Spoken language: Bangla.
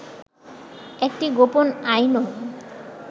একটি গোপন আইনও